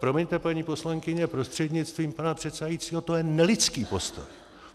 Promiňte, paní poslankyně prostřednictvím pana předsedajícího, to je nelidský postoj.